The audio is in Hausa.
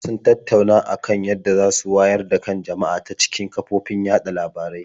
Sun tattauna a kan yadda za su wayar da kan jama'a ta cikin kafofin yaɗa labarai.